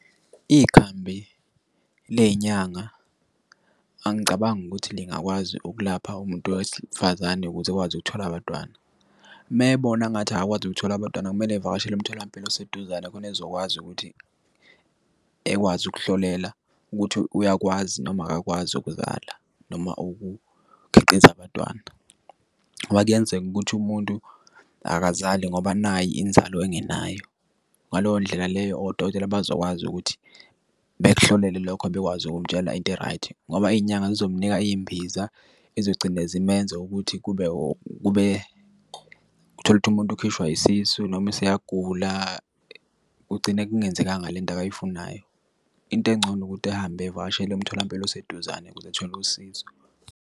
Ikhambi leyinyanga, angicabangi ukuthi lingakwazi ukulapha umuntu wesifazane ukuze ekwazi ukuthola abantwana. Uma ebona engathi akakwazi ukuthola abantwana, kumele evakashele umtholampilo oseduzane khona ezokwazi ukuthi ekwazi ukuhlolela ukuthi uyakwazi noma akakwazi ukuzala noma ukukhiqiza abantwana. Ngoba kuyenzeka ukuthi umuntu akazali ngoba nayi inzalo engenayo. Ngaleyo ndlela leyo, odokotela bazokwazi ukuthi bekuhlolele lokho, bekwazi ukumtshela into e-right. Ngoba iyinyanga zizomnika iyimbiza ezizogcina zimenze ukuthi kube kube, utholukuthi umuntu ukhishwa isisu, noma useyagula, kugcine kungenzekanga lento akayifunayo. Into engcono ukuthi ehambe, evakashele umtholampilo oseduzane ukuze ethole usizo.